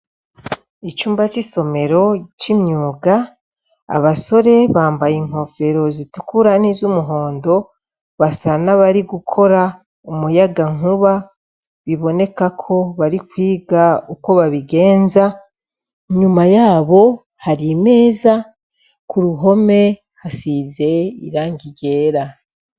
Icumba c'isomero c'imyuga abasore bambaye inkofero zitukura n'izo umuhondo basa n'abari gukora umuyaga nkuba biboneka ko bari kwiga uko babigenza inyuma yabo hari meza ku ruhome hasize irange ryera.